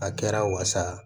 A kɛra wasa